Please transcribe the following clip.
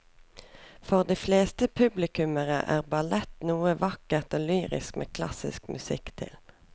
For de fleste publikummere er ballett noe vakkert og lyrisk med klassisk musikk til.